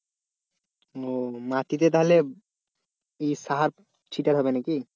ও মাটিতে তাহলে ইয়ে সার ছিটাতে হবে নাকি?